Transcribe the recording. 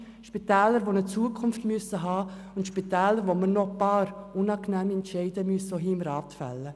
Es sind Spitäler, die eine Zukunft brauchen und zu denen wir auch als Grosser Rat noch ein paar unangenehme Entscheide werden fällen müssen.